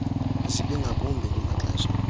zibi ngakumbi kumaxesha